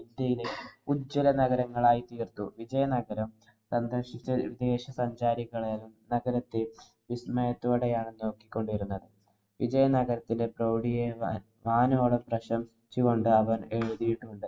ഉജ്വലനഗരങ്ങളായി തീര്‍ത്തു. വിജയനഗരം സന്ദര്‍ശിച്ച വിദേശ സഞ്ചാരികളും നഗരത്തെ വിസ്മയത്തോടെയാണ് നോക്കിക്കൊണ്ടിരുന്നത്. വിജയനഗരത്തിലെ പ്രൌഢിയെ വാനോളം പ്രശംസിച്ചു കൊണ്ടവര്‍ എഴുതിട്ടുണ്ട്.